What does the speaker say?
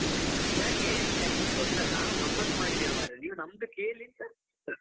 ಯಾಕೆ ಛೆ ಹೊಸ ನಾವು ಗಮ್ಮತ್ ಮಾಡಿದ್ದೇವೆ ಮಾರಾಯ ನೀವು ನಮ್ಮದು ಕೇಳಿಸ .